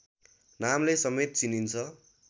नामले समेत चिनिन्छ